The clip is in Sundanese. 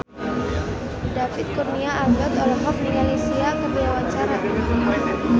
David Kurnia Albert olohok ningali Sia keur diwawancara